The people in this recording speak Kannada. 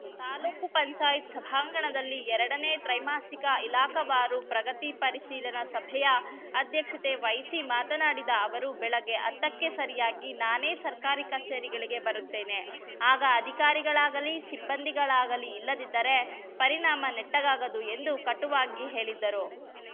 ತಾಲೂಕು ಪಂಚಾಯತ್ ಸಭಾಂಗಣದಲ್ಲಿ ಎರಡನೇ ತ್ರೈಮಾಸಿಕ ಇಲಾಖಾವಾರು ಪ್ರಗತಿ ಪರಿಶೀಲನಾ ಸಭೆಯ ಅಧ್ಯಕ್ಷತೆ ವಹಿಸಿ ಮಾತನಾಡಿದ ಅವರು ಬೆಳಗ್ಗೆ ಹತ್ತಕ್ಕೆ ಸರಿಯಾಗಿ ನಾನೆ ಸರ್ಕಾರಿ ಕಚೇರಿಗಳಿಗೆ ಬರುತ್ತೇನೆ ಆಗ ಅಧಿಕಾರಿಗಳಾಗಲಿ ಸಿಬ್ಬಂದಿಗಳಾಗಲಿ ಇಲ್ಲದಿದ್ದರೆ ಪರಿಣಾಮ ನೆಟ್ಟಗಾಗದು ಎಂದು ಕಟುವಾಗಿ ಹೇಳಿದರು